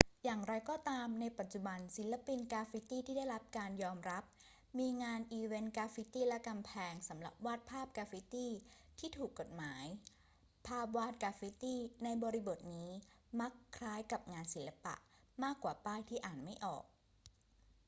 อย่างไรก็ตาม ในปัจจุบันศิลปินกราฟฟิตีที่ได้รับการยอมรับ มีงานอีเวนต์กราฟฟิตี และกำแพง สำหรับวาดภาพกราฟฟิตีที่ ถูกกฎหมาย ภาพวาดกราฟฟิตีในบริบทนี้มักคล้ายกับงานศิลปะมากกว่าป้ายที่อ่านไม่ออก